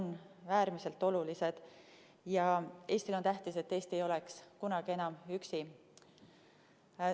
Liitlassuhted on Eestile äärmiselt olulised ja Eestile on tähtis, et Eesti ei oleks kunagi enam üksi.